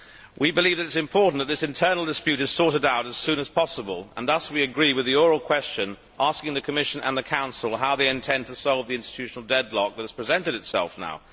We believe that it is important that this internal dispute is sorted out as soon as possible, and thus we agree with the oral question asking the Commission and the Council how they intend to solve the institutional deadlock that has presented itself now.